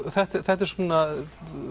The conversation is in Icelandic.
þetta eru svona